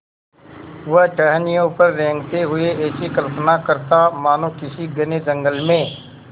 वह टहनियों पर रेंगते हुए ऐसी कल्पना करता मानो किसी घने जंगल में